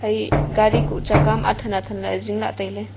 e gari kuh chaka am athen athen lah le zing la tai ley.